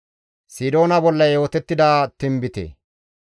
GODAA qaalay taakko yiidi,